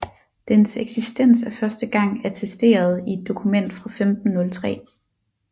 Dens eksistens er første gang attesteret i et dokument fra 1503